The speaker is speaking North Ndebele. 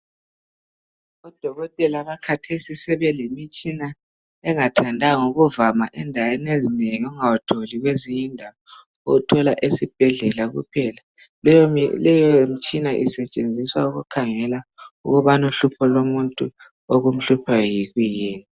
Odokotela bakhathesi sebelemitshina engathandanga ukuvama endaweni ezinengi ungawutholi kwezinye indawo uwuthola esibhedlela kuphela leyo mitshina isetshenziswa ukukhangela ukubana uhlupho lomuntu okumhluphayo yikuyini.